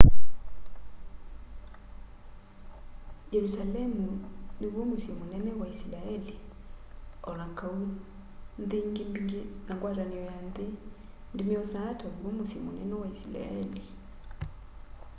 yerusalemu niw'o musyi munene wa isilaeli o na kau nthi ingi mbingi na ngwatanio ya nthi ndimy'osaa taw'o musyi munene wa isilaeli